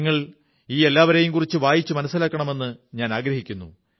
നിങ്ങൾ ഈ എല്ലാവരെയും കുറിച്ച് വായിച്ചു മനസ്സിലാക്കണമെന്ന് ഞാനാഗ്രഹിക്കുന്നു